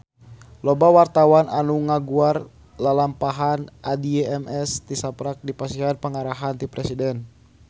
Loba wartawan anu ngaguar lalampahan Addie MS tisaprak dipasihan panghargaan ti Presiden